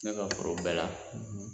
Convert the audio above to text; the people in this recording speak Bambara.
Ne ka foro bɛɛ la